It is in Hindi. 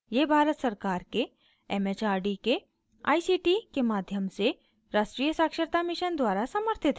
यह भारत सरकार के it it आर डी के आई सी टी के माध्यम से राष्ट्रीय साक्षरता mission द्वारा समर्थित है